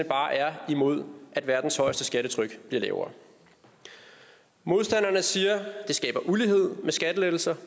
bare er imod at verdens højeste skattetryk bliver lavere modstanderne siger at skattelettelser